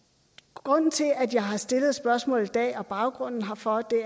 grunden til at jeg har stillet spørgsmålet i dag og baggrunden herfor